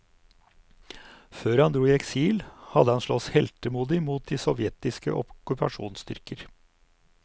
Før han dro i eksil, hadde han slåss heltemodig mot det sovjetiske okkupasjonsstyrker.